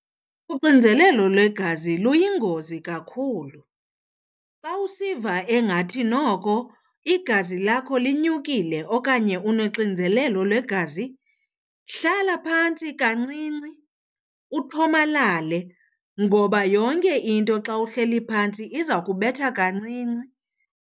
Uxinzelelo lwegazi luyingozi kakhulu. Xa usiva engathi noko igazi lakho linyukile okanye unoxinzelelo lwegazi, hlala phantsi kancinci uthomalale ngoba yonke into xa uhleli phantsi iza kubetha kancinci.